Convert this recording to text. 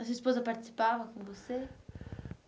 A sua esposa participava com você?